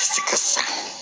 Sikaso